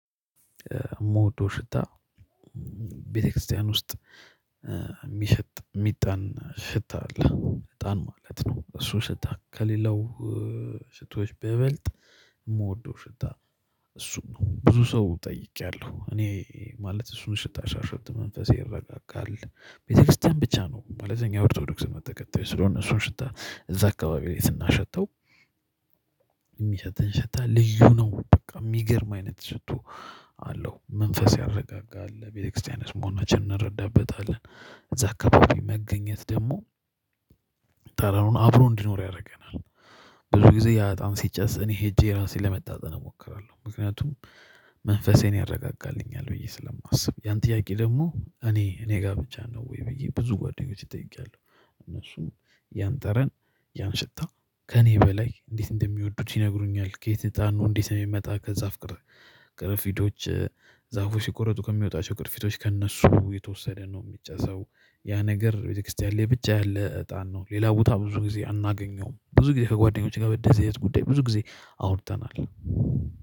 ሞዶው ሽታ ቤተክርስቲያን ውስጥ የሚሸጥ የሚጣን ሽታ አለ እጣን ማለት ነው። እሱ ሽታ ከሌላው ሽቶች ቢይበልጥ የምወደው ሽታ ነው። እሱ ብዙ ሰው ጠይቄያለሁ እኔ ማለት እሱን ሽታ ሳሸት መንፈሴ ይረጋጋል ቤተክርስቲያን ብቻ ነው። እኛ የኦርቶዶክስ እምነት ተከተይ ስለሆንን ሽታ እዛ አካባቢ ላይ ስናሸተው የሚሸተን ሽታ ልዩ ነው በቃ የሚገርም አይነት ሽቶ አለው መንፈስ ያረጋጋል ቤተክርስቲያናችን መሆናችንን እንረዳበታለን። እዚያ አካባቢ መገኘት ደግሞ ጠራኑን አብሮ እንዲኖር ያደርገናል። ብዙ ጊዜ ያ እጣን ሲጨስ እኔ ሄጄ ራሴን ለመተጣን እሞክራለሁ ምክንያቱም መንፈሴን ያረጋጋልኛል ብዬ ስለማስብ። ያን ጥያቄ ደግሞ እኔ እኔ ጋር ብቻ ነው? ወይ ብዬ ብዙ ጓደኞቼ ጠይቄያለሁ እነሱም ያን ጠረን ያን ሽታ ከእኔ በላይ እንዴት እንደሚወዱት ይነግሩኛል። ከየት እጣኑ እንዴት ነው የሚመጣ? ከዛፍ ቅር ቅረፊቶች ሲቆረጡ ከሚወጣቸው ቅርፊቶች ከእነሱ የተወሰደ ነው የሚጨሰው ያ ነገር ቤተክርስቲያን ላይ ብቻ ያለ እጣን ነው። ሌላ ቦታ ብዙ ጊዜ አናገኘውም። ብዙ ጊዜ ከጓደኞቼ ጋር በደህንነት ጉዳይ ብዙ ጊዜ አውርተናል።